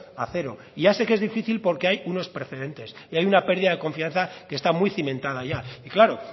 a cero y ya sé que es difícil porque hay unos precedentes y hay una pérdida de confianza que está muy cimentada ya y claro